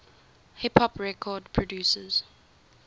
hip hop record producers